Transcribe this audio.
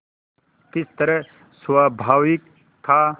किस तरह स्वाभाविक था